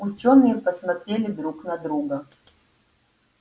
учёные посмотрели друг на друга